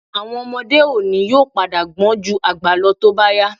Àwọn ọmọdé òní yóò padà gbọ́n ju àgbà lọ tó bá yá